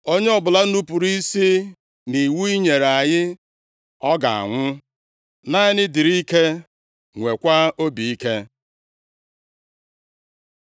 Onye ọbụla nupuru isi nʼiwu i nyere anyị, ọ ga-anwụ. Naanị dịrị ike, nweekwa obi ike.”